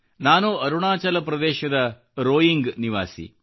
ನಾನು ಅರುಣಾಚಲ ಪ್ರದೇಶದ ರೋಯಿಂಗ್ ನಿವಾಸಿ